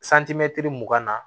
santimɛtiri mugan na